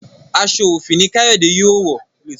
aṣọ òfì ní Kayode yóò wọ